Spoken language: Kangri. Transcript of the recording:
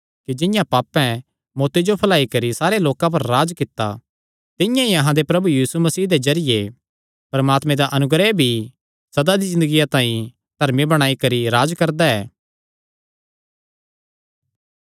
कि जिंआं पापें मौत्ती जो फैलाई करी सारे लोकां पर राज्ज कित्ता तिंआं ई अहां दे प्रभु यीशु मसीह दे जरिये परमात्मे दा अनुग्रह भी सदा दी ज़िन्दगिया तांई धर्मी बणाई करी राज्ज करदा ऐ